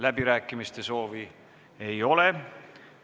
Läbirääkimiste soovi ei ole.